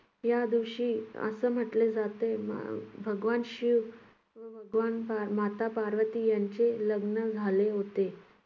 या दिवशी असं म्हटले जाते ब~ भगवान शिव भगवान माता पार्वती यांचे लग्न झाले होते.